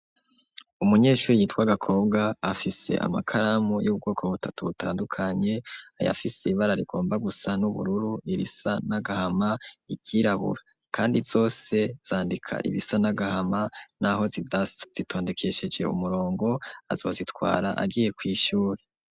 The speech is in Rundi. Umunyeshuri yitwa Gakobwa afise amakaramu y'ubwoko butatu butandukanye, ayafise ibara rigomba gusa n'ubururu, irisa n'agahama iryirabura, kandi zose zandika ibisa n'agahama n'aho zidasa, zitondekesheje umurongo, azozitwara agiye kw'ishuri.